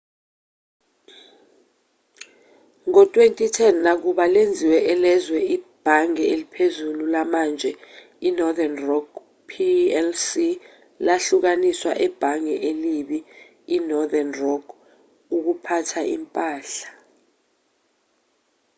ngo-2010 nakuba lenziwe elezwe ibhange eliphezulu lamanje i-northern rock plc lahlukaniswa ‘ebhange elibi‘ i-northern rock ukuphatha impahla